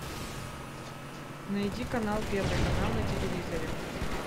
найди канал первый канал на телевизоре